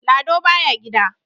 Lado baya gida.